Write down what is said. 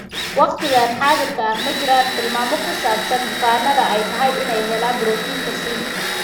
Waqtigan xaadirka ah, ma jiraan tilmaamo ku saabsan bukaannada ay tahay inay helaan borotiinka C.